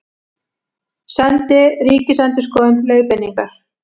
Sendi Ríkisendurskoðun leiðbeiningar